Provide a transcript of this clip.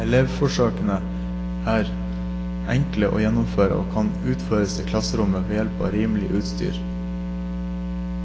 Elevforsøkene er enkle å gjennomføre og kan utføres i klasserommet, ved hjelp av rimelig utstyr.